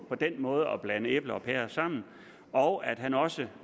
den måde på at blande æbler og pærer sammen og at han også